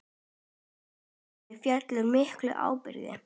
Þessu úri fylgir mikil ábyrgð.